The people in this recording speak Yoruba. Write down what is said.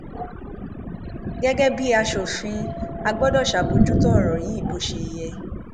gẹgẹ bíi asòfin a gbọdọ ṣàbójútó ọrọ yìí bó ṣe yẹ